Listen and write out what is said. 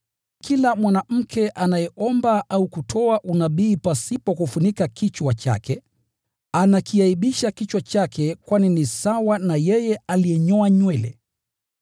Naye kila mwanamke anayeomba au kutoa unabii pasipo kufunika kichwa chake, anakiaibisha kichwa chake, kwani ni sawa na yeye aliyenyoa nywele.